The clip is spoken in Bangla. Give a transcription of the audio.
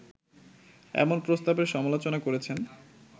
এমন প্রস্তাবের সমালোচনা করেছেন